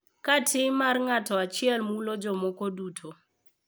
Ka tim mar ng’ato achiel mulo jomoko duto.